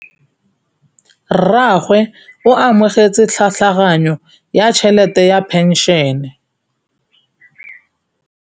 Rragwe o amogetse tlhatlhaganyô ya tšhelête ya phenšene.